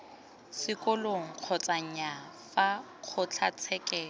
sekolong kgotsa nnyaa fa kgotlatshekelo